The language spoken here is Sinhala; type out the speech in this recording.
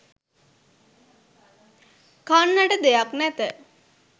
කන්නට දෙයක් නැත